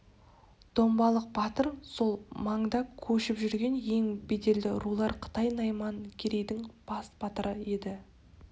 домбалық батыр сол маңда көшіп жүрген ең беделді рулар қытай найман керейдің бас батыры еді